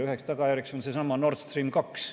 Üheks tagajärjeks on seesama Nord Stream 2.